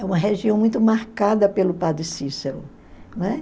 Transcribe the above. É uma região muito marcada pelo padre Cícero. Né?